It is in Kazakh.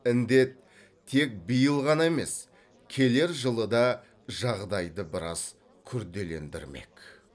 індет тек биыл ғана емес келер жылы да жағдайды біраз күрделендірмек